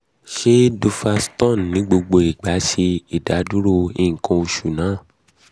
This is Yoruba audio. ṣe duphaston ni gbogbo um igba ṣe idaduro nkan osu naa? three